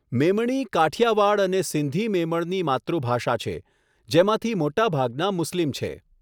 મેમણી કાઠિયાવાડ અને સિંધી મેમણની માતૃભાષા છે, જેમાંથી મોટાભાગના મુસ્લિમ છે.